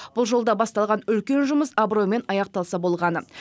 бұл жолда басталған үлкен жұмыс абыроймен аяқталса болғаны